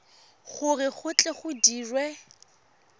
gore go tle go dirwe